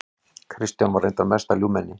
Kristján var reyndar mesta ljúfmenni.